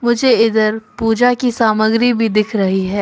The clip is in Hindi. मुझे इधर पूजा की सामग्री भी दिख रही है।